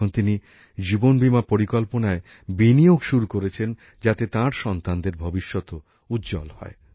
এখন তিনি জীবন বীমা পরিকল্পনায় বিনিয়োগ শুরু করেছেন যাতে তাঁর সন্তানদের ভবিষ্যৎও উজ্জ্বল হয়